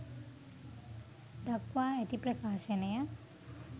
දක්වා ඇති ප්‍රකාශනය